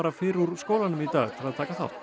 fyrr úr skólanum í dag til að taka þátt